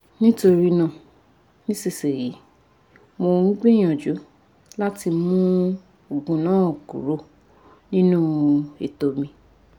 nitorina nisisiyi mo n gbiyanju lati mu oogun naa kuro ninu eto mi